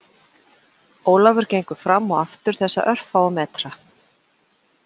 Ólafur gengur fram og aftur þessa örfáu fermetra